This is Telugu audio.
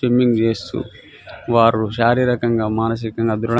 స్విమ్మింగ్ చేస్తూ వారు శారీరకంగా మానసికంగా దృడా --